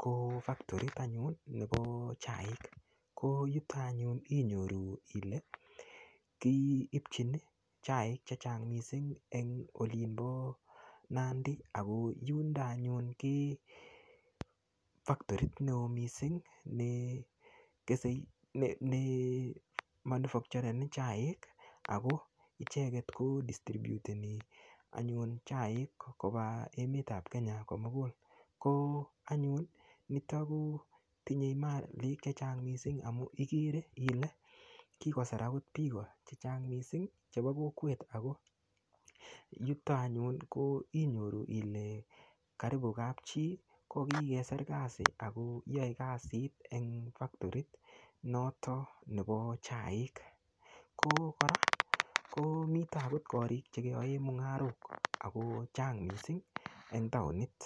ko factoriit anyuun nebo chaik, koo yuton anyuun inyoruu kii ibchiin iih chaik chechang en olimboo nandi ago yundo anyuun koo factoriit neoo mising neemanufachoreni chaiik ago icheget ko distribyuteni chaik kobaa emet ab kenya komuguul, koo niton koo tinye maliik chechang mising amuun igere ile kigoseraak biik chechang mising chebo kokweet ago niton anyuun inyoruu ilee karibu kaab chii kogigesiir kasiit ago yoee kasiit en factorii noton nebo chaiik, agoo koraa ko taguu koriik chegeyoeen mungarook ko chaang mising en taonit.